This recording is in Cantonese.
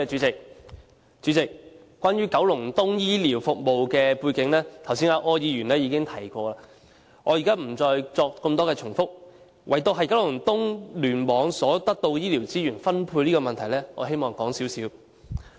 主席，關於九龍東醫療服務的背景，剛才柯議員已經提及，我不再在此贅述，唯獨就九龍東醫院聯網所獲得的醫療資源分配的問題，我希望談一談。